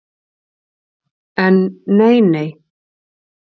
En nei, nei.